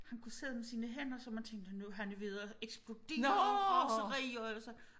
Han kunne sidde med sine hænder så man tænkte nu er han ved at eksplodere af raseri og så